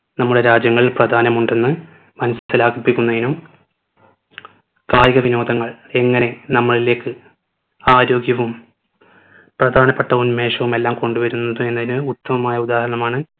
നമ്മുടെ രാജ്യങ്ങൾ പ്രധാനമുണ്ടെന്ന് മനസിലാക്കിപ്പിക്കുന്നതിനും കായിക വിനോദങ്ങൾ എങ്ങനെ നമ്മളിലേക്ക് ആരോഗ്യവും പ്രധാനപ്പെട്ട ഉന്മേഷവും എല്ലാം കൊണ്ടുവരുന്നത് എന്നതിന് ഉത്തമമായ ഉദാഹരണമാണ്